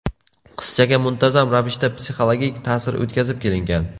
Qizchaga muntazam ravishda psixologik ta’sir o‘tkazib kelingan.